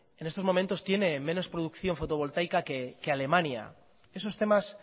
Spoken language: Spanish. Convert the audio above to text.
en estos momentos tiene menos producción fotovoltaica que alemania esos temas